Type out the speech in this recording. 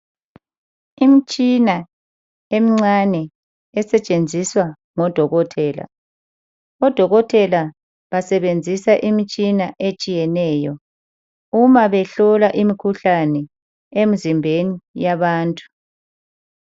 Imitshina emincane esetshenziswa ngodokotela. Odokotela basebenzisa imitshina etshiyeneyo uma behlola imkhuhlane emzimbeni yabantu.